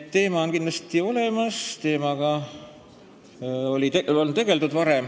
Teema on kindlasti olemas ja sellega on varem tegeldud.